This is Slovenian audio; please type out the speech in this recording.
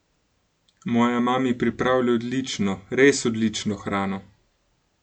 Moja mami pripravlja odlično, res odlično hrano!